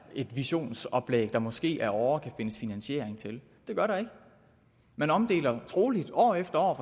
et visionsoplæg der måske ad åre kan findes finansiering til det gør der ikke man omdeler forstår troligt år efter år